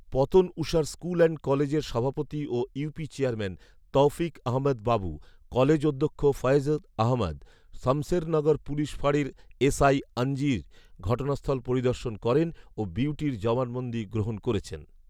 Patanushar school and কলেজের সভাপতি ও UP chairman Tawfiq Ahmed Babu, college অধ্যক্ষ ফয়েজ আহমদ, শমসেরনগর পুলিশ ফাঁড়ির এসআই আনজির ঘটনাস্থল পরিদর্শন করেন ও বিউটির জবানবন্দি গ্রহণ করেছেন